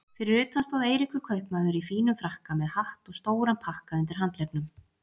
Fyrir utan stóð Eiríkur kaupmaður í fínum frakka með hatt og stóran pakka undir handleggnum.